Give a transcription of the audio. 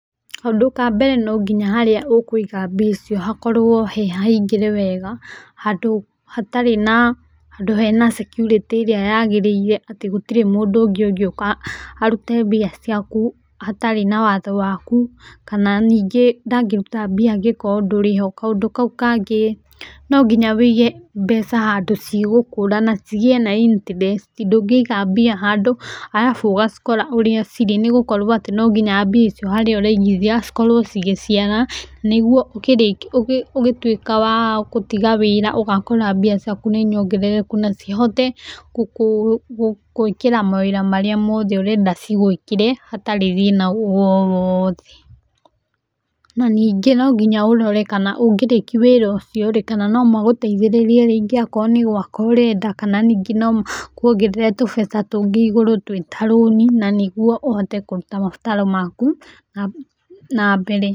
Kaũndũ ka mbere nonginya harĩa ũkũiga mbia icio hakorwo hehahingĩre wega. Handũ hatarĩ na , handũ hena security ĩrĩa yagĩrĩire atĩ gũtirĩ mũndũ ũngĩ ũngĩũka arute mbia ciaku hatarĩ na watho waku. Kana ningĩ ndangĩruta mbia angĩkorwo ndũrĩ ho. Kaũndũ kau kangĩ no nginya ũige mbeca handũ cigũkũra na cigie na interest, ndũngĩiga mbia handũ arabu ũgacikora ũrĩa cirĩ nĩ gũkorwo atĩ no nginya mbia icio harĩa ũraigithia cikorwo cigĩciara. Nĩguo ũgĩtuĩka wa gũtiga wĩra, ũgakora mbia ciaku nĩ nyongerereku na cihote gũgũĩkĩra mawĩra marĩa mothe ũrenda cigũĩkĩre hatarĩ thĩna woothe. Na ningĩ no nginya ũrore ũngĩrĩki wĩra ũcio rĩ kana no magũteithĩrĩrie okorwo nĩ gwaka ũrenda kana ningĩ no makuongerere tũbeca tũngĩ igũrũ twĩ ta rũni na nĩguo ũhote kũruta mabataro maku na mbere.